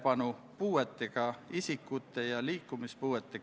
Palun võtta seisukoht ja hääletada!